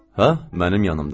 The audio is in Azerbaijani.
Hə, mənim yanımdadır.